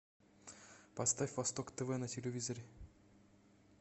поставь восток тв на телевизоре